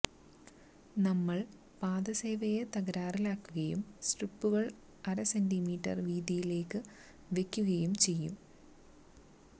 നമ്മൾ പാദസേവയെ തകരാറിലാക്കുകയും സ്ട്രിപ്പുകൾ അര സെന്റീമീറ്റർ വീതിയിലേക്ക് വെക്കുകയും ചെയ്യും